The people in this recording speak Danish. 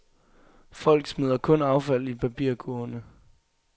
Folk smider kun affald i papirkurvene.